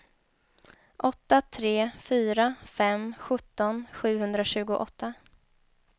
åtta tre fyra fem sjutton sjuhundratjugoåtta